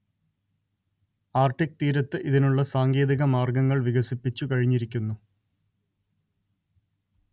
Arctic തീരത്ത് ഇതിനുള്ള സാങ്കേതിക മാർഗങ്ങൾ വികസിപ്പിച്ചു കഴിഞ്ഞിരിക്കുന്നു